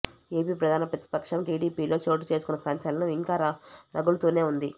AP ప్రధాన ప్రతిపక్షం టీడీపీలో చోటు చేసుకున్న సంచలనం ఇంకా రగులుతూనే ఉంది